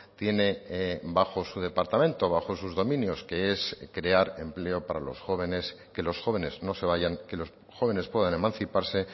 tiene bajo su departamento bajo sus dominios que es crear empleo para los jóvenes que los jóvenes no se vayan que los jóvenes puedan emanciparse